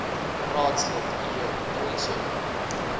raadslid j donson